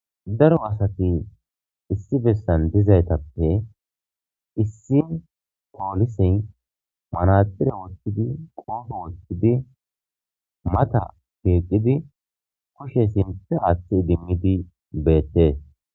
Daro asati issi bessan dizaytappe issi poolisin manaxire wottidi qoofo wottidi mata keeqidi kushe sinte aaththi idimmidi beettees.